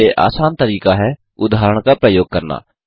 सबसे आसान तरीका है उदाहरण का प्रयोग करना